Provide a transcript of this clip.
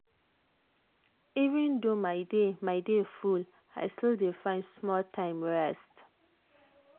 even though my day my day full i still dey find small time rest.